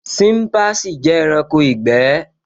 Ṣínpasì jẹ́ ẹranko ìgbẹ́